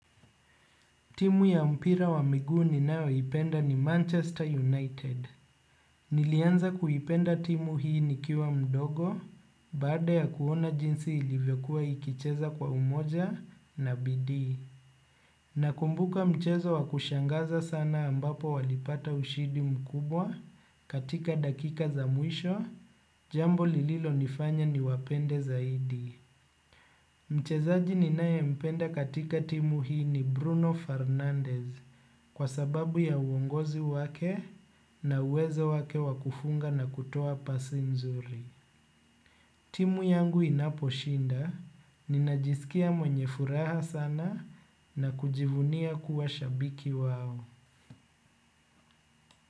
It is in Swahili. Timu ya mpira wa miguu ninayo ipenda ni Manchester United. Nilianza kuipenda timu hii ni kiwa mdogo, baada ya kuona jinsi ilivyakua ikicheza kwa umoja na bidii. Nakumbuka mchezo wa kushangaza sana ambapo walipata ushidi mkubwa katika dakika za mwisho, jambo lililo nifanya ni wapende zaidi. Mchezaji ninae mpenda katika timu hii ni Bruno Fernandez kwa sababu ya uongozi wake na uwezo wake wakufunga na kutoa pasi mzuri. Timu yangu inaposhinda, ninajisikia mwenye furaha sana na kujivunia kuwa shabiki wao.